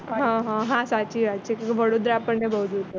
હ હ સાચી વાત છે કેમ કે વડોદરા આપણને બોવ દૂર પડે